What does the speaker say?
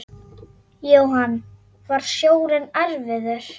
Jóhann: Var sjórinn erfiður?